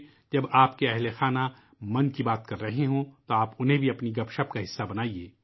جب آپ کے کنبے کے افراد بات چیت میں مصروف ہوتے ہیں تو آپ کو بھی اس گفتگو میں حصہ لینا چاہئے